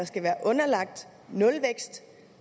skal være underlagt nulvækst